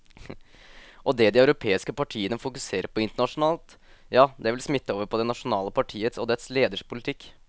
Og det de europeiske partiene fokuserer på internasjonalt, ja det vil smitte over på det nasjonale partiets og dets leders politikk.